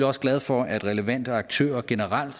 også glad for at relevante aktører generelt